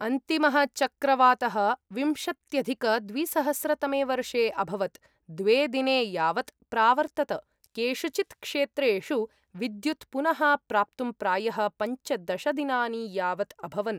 अन्तिमः चक्रवातः विंशत्यधिकद्विसहस्रतमे वर्षे अभवत्, द्वे दिने यावत् प्रावर्तत, केषुचित् क्षेत्रेषु विद्युत् पुनः प्राप्तुं प्रायः पञ्चदश दिनानि यावत् अभवन्।